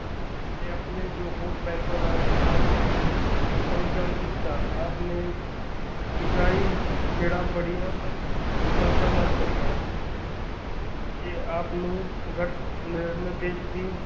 ਤੇ ਆਪਣੇ ਜੋ ਹੋਰ ਬੈਂਕਾਂ ਨਾਲ ਦਾ ਸਮੀਕਰਣ ਕੀਤਾ ਆਪ ਨੇ ਈਸਾਈ ਖੇੜ੍ਹਾ ਬੜੀਆਂ ਸਫਲਤਾ ਨਾਲ਼ ਕਰੀਆਂ ਤੇ ਆਪ ਨੂੰ ਗੱਠ ਨਿਰਦੇਸ਼ ਦੀ।